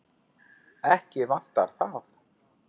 Ekki vantaði það.